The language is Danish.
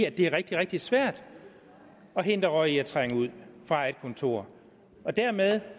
at det er rigtig rigtig svært at hindre røg i at trænge ud fra et kontor dermed